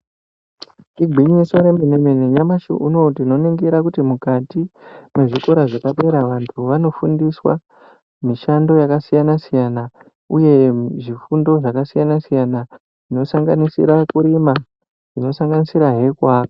Igwinyiso remene-mene nyamashi uno tinoningira kuti mukati mwezvikora zvepadera vantu vanofundiswa mishando yakasiyana-siyana, uye zvifundo zvakasiyana-siyana, zvinosanganisira kurima zvinosanganisirahe kuaka.